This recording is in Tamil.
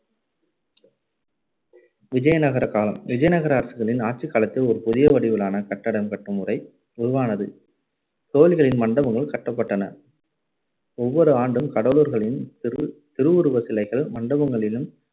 விஜயநகர காலம் விஜயநகர அரசர்களின் ஆட்சிக்காலத்தில் ஒரு புதிய வடிவிலான கட்டடம் கட்டும் முறை உருவானது கோவில்களின் மண்டபங்கள் கட்டப்பட்டன ஒவ்வொரு ஆண்டும் கடவுளர்களின் திரு~ திருவுருவச் சிலைகள் மண்டபங்களிலும்